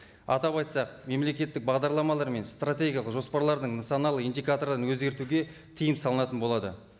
атап айтсақ мемлекеттік бағдарламалар мен стратегиялық жоспарлардың нысаналы индикаторын өзгертуге тыйым салынатын болады